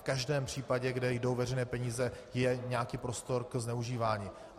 V každém případě, kde jdou veřejné peníze, je nějaký prostor pro zneužívání.